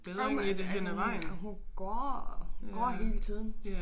Jo men altså altså hun hun går går hele tiden